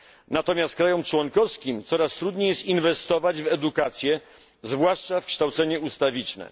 Natomiast państwom członkowskim coraz trudniej jest inwestować w edukację, zwłaszcza w kształcenie ustawiczne.